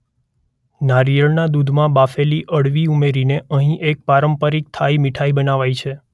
નારિયેળના દૂધમાં બાફેલી અળવી ઉમેરીને અહીં એક પારંપરિક થાઈ મીઠાઈ બનાવાય છે.